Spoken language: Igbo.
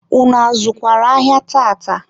unu azụkwara ahịa tata?